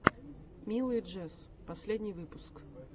милый джесс последний выпуск